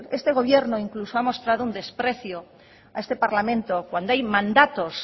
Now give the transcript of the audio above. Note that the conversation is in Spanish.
este gobierno incluso ha mostrado un desprecio a este parlamento cuando hay mandatos